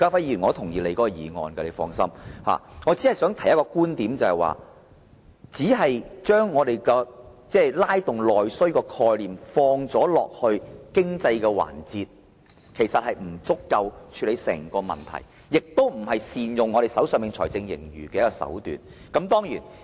然而，我想提出一個觀點，就是單把"拉動內需"的概念套用在經濟上，其實不足以宏觀地處理整個問題，亦非善用財政盈餘的手段。